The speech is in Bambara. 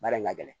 Baara in ka gɛlɛn